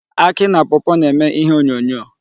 Akị na pawpaw na-eme ihe onyonyo.